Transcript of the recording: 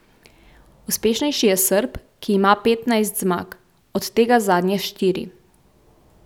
Uspešnejši je Srb, ki ima petnajst zmag, od tega zadnje štiri.